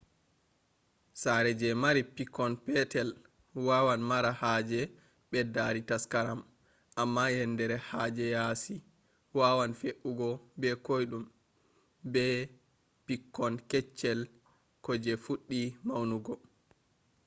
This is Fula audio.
sare je mari pikkon petel wawan mara haje beddari taskaram, amma yendere ha yaasi wawan fe’ugo be koidum be pikkon keccel ko je fuddi maunugo